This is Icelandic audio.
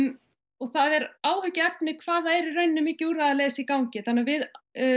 og það er áhyggjuefni hvað það er í rauninni mikið úrræðaleysi í gangi þannig að við